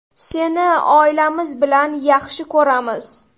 Seni oilamiz bilan yaxshi ko‘ramiz!